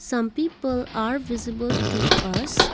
some people are visible to us.